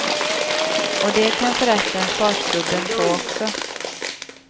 Och det kan förresten farsgubben få också.